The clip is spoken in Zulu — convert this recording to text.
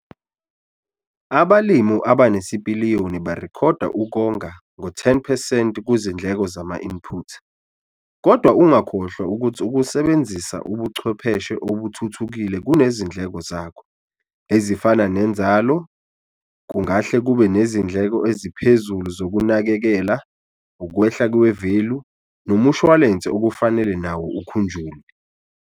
Abalimi abanesipiliyoni barekhode okonga ngo-10 percent kuzindleko zama-input. Kodwa ungakhohlwa ukuthi ukusebenzisa ubuchwepheshe obuthuthukile kunezindleko zakho, ezifana nenzalo, kungahle kube nezindleko eziphezulu zokunakekela, ukwehla kwevelu, nomshuwalense okufanele nawo ukhunjulwe.